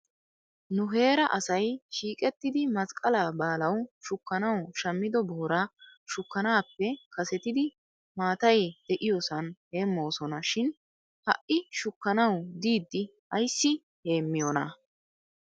Nu heeraa asay shiiqettidi masqqalaa baalaw shukkanaw shammido booraa shukkanaappe kasetidi maatay de'iyoosan heemmosona shin ha'i shukkanaw diidi ayssi heemmiyoonaa?